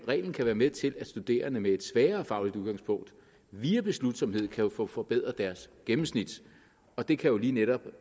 reglen kan være med til at studerende med et svagere fagligt udgangspunkt via beslutsomhed kan få forbedret deres gennemsnit og det kan jo lige netop